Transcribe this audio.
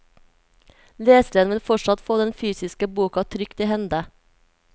Leseren vil fortsatt få den fysiske boka trygt i hende.